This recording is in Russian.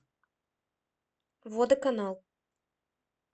водоканал